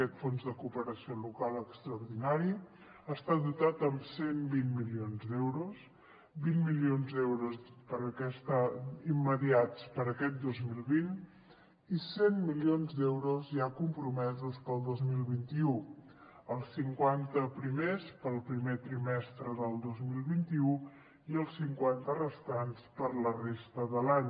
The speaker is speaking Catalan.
aquest fons de cooperació local extraordinari està dotat amb cent i vint milions d’euros vint milions d’euros immediats per a aquest dos mil vint i cent milions d’euros ja compromesos per al dos mil vint u els cinquanta primers per al primer trimestre del dos mil vint u i els cinquanta restants per a la resta de l’any